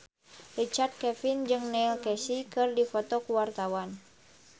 Richard Kevin jeung Neil Casey keur dipoto ku wartawan